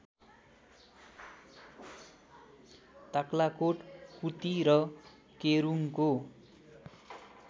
ताक्लाकोट कुती र केरूङको